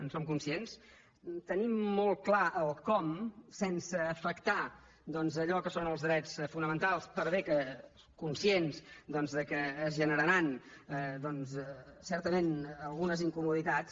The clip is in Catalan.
en som conscients tenim molt clar el com sense afectar doncs allò que són els drets fonamentals per bé que conscients que es generaran certament algunes incomoditats